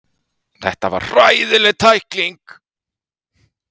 Þetta var hræðileg tækling.